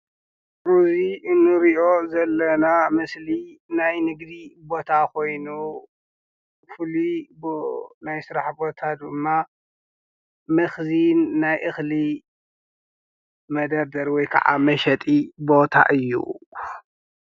እዚ ንርእዮ ዘለና ምስሊ ናይ ንግዲ ቦታ ኾይኑ ፉሉይ ናይ ስራሕ ቦታ ድማ መኽዚን ናይ እኽሊ መደበር ወይ ኻዓ መሸጢ ቦታ እዩ።